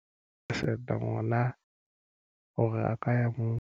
Decider hore na o kaya moo.